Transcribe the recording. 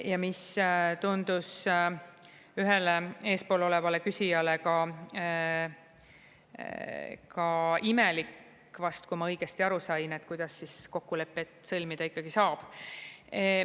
Ja mis tundus ühele eespool olevale küsijale ka imelik vast, kui ma õigesti aru sain, et kuidas siis kokkulepet sõlmida ikkagi saab.